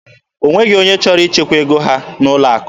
O nweghịzi onye chọrọ ichekwa ego ha n'ụlọ akụ.